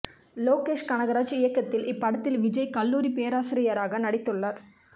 லோகேஷ் கனகராஜ் இயக்கத்தில் இப்படத்தில் விஜய் கல்லூரி பேராசிரியராக நடித்துள்ளார்